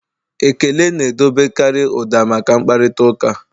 Ekele na-edobekarị ụda maka mkparịta ụka.